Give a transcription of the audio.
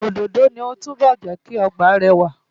Òdòdó ni ó túbọ̀ jẹ́ kí ọgbà náà rẹwà.